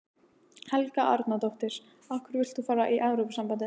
Helga Arnardóttir: Af hverju vilt þú fara í Evrópusambandið?